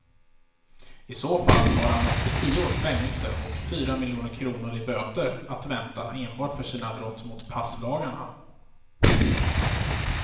I så fall har han upp till tio års fängelse och fyra miljoner kronor i böter att vänta enbart för sina brott mot passlagarna.